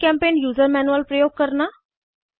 जीचेम्पेंट user manual प्रयोग करना